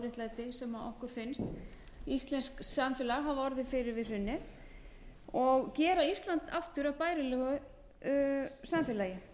óréttlæti sem okkur finnst íslenskt samfélag hafa orðið fyrir við hrunið og gera ísland aftur að bærilegu samfélagi